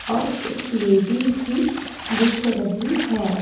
और एक लेडी भी दिख रही है।